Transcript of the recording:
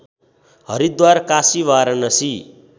Haridwar Kashi Varanasi